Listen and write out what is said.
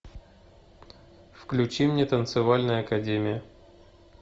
включи мне танцевальная академия